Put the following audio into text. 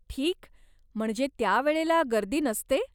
ठीक, म्हणजे त्या वेळेला गर्दी नसते?